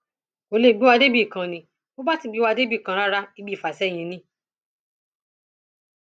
kò lè gbé wa débì kan ni bó bá sì gbé wa débì kan rárá ibi ìfàsẹyìn ni